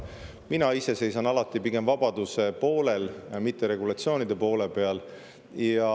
Mina ise seisan alati pigem vabaduse poolel, mitte regulatsioonide poolel.